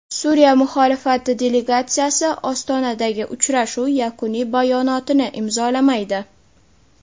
Suriya muxolifati delegatsiyasi Ostonadagi uchrashuv yakuniy bayonotini imzolamaydi.